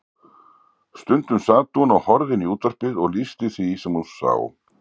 Stundum sat hún og horfði inn í útvarpið og lýsti því sem hún sá.